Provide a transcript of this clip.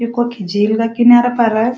यु कखि झील का किनारा पर --